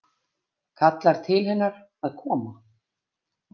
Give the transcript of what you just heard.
Kallar til hennar að koma.